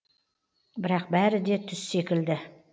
бірақ бәрі де түс секілді